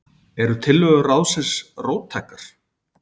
Eru tillögur ráðsins róttækar?